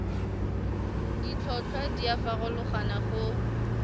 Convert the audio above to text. ditlhotlhwa di a farologana go